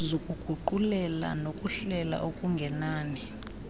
zokuguqulela nokuhlela okungenani